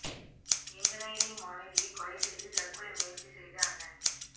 engineering மாணவியை கொலை செய்து தற்கொலை முயற்சி செய்த அண்ணன்